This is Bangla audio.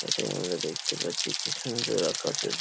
এটায় নেবে দেখতে পাচ্ছি কি সুন্দর আকাশের --